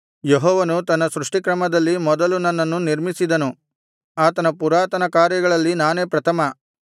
ಯೆಹೋವನು ತನ್ನ ಸೃಷ್ಟಿಕ್ರಮದಲ್ಲಿ ಮೊದಲು ನನ್ನನ್ನು ನಿರ್ಮಿಸಿದನು ಆತನ ಪುರಾತನಕಾರ್ಯಗಳಲ್ಲಿ ನಾನೇ ಪ್ರಥಮ